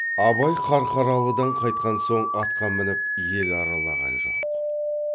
абай қарқаралыдан қайтқан соң атқа мініп ел аралаған жоқ